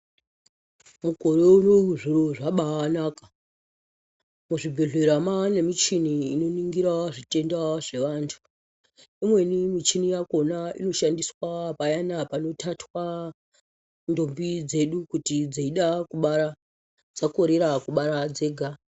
Mukoro unowu zviro zvabaanaka muzvibhedhlera mwaane muchini inoningira zvitenda zveantu imweni michini yakhona inoshandiswa payana panotatwa ndombi dzeida kuti dzeida kubara Dzakorera kubara dzega.